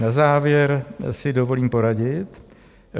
Na závěr si dovolím poradit.